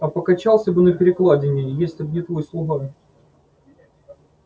а покачался бы на перекладине если б не твой слуга